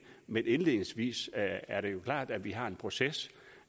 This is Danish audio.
men indledningsvis er det jo klart at vi har en proces